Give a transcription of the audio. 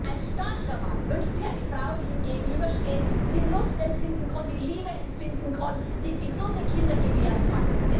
Ein starker Mann wünscht sich eine Frau, die ihm gegenübersteht, die Lust empfinden, die Liebe empfinden, die gesunde Kinder gebären kann.